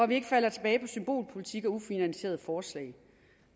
vi ikke falder tilbage på symbolpolitik og ufinansierede forslag